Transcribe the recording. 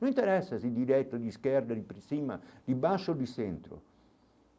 Não interessa se direto de esquerda, de cima, de baixo ou de centro.